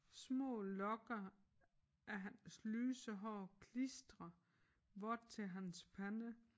Små lokker af hans lyse hår klistrer vådt til hans pande